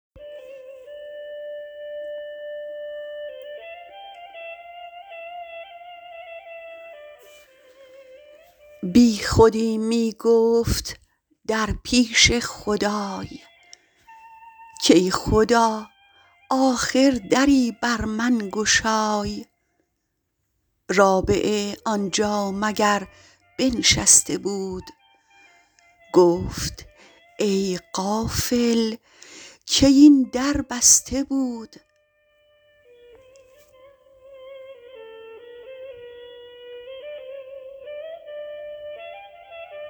بی خودی می گفت در پیش خدای کای خدا آخر دری بر من گشای رابعه آنجا مگر بنشسته بود گفت ای غافل کی این در بسته بود